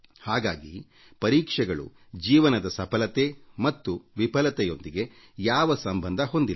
ಹಾಗಾಗಿ ಪರೀಕ್ಷೆಗಳು ಜೀವನದ ಸಫಲತೆ ಮತ್ತು ವಿಫಲತೆಯೊಂದಿಗೆ ಯಾವ ಸಂಬಂಧ ಹೊಂದಿಲ್ಲ